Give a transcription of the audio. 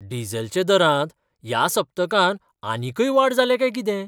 डिझेलच्या दरांत ह्या सप्तकांत आनीकय वाड जाल्या काय कितें?